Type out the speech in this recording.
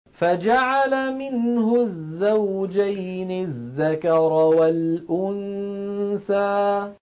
فَجَعَلَ مِنْهُ الزَّوْجَيْنِ الذَّكَرَ وَالْأُنثَىٰ